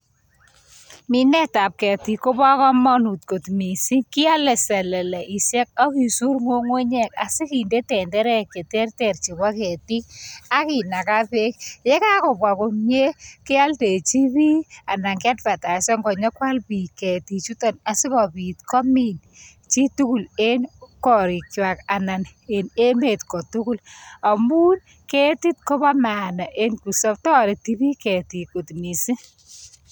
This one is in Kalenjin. Minetab ketik Kobo komonut kot missing kiole seleleishek ak kisur ngungunyek asikinde tenderek che terter chebo ketik akinaka beek yekakobwa komye kioldejin bik ana kianvataisen konyon kwal bik ketik juton asikobit komin jitukul en korikwak anan en emet kotukul amun ketit ko maana en toreti bik kot missing.